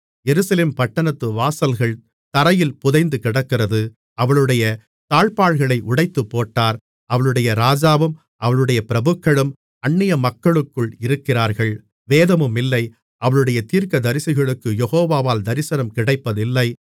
எருசலேம் பட்டணத்து வாசல்கள் தரையில் புதைந்துகிடக்கிறது அவளுடைய தாழ்ப்பாள்களை உடைத்துப்போட்டார் அவளுடைய ராஜாவும் அவளுடைய பிரபுக்களும் அந்நியமக்களுக்குள் இருக்கிறார்கள் வேதமுமில்லை அவளுடைய தீர்க்கதரிசிகளுக்குக் யெகோவாவால் தரிசனம் கிடைப்பதில்லை